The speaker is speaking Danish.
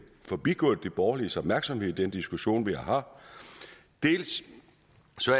forbigået de borgerliges opmærksomhed i den diskussion vi har det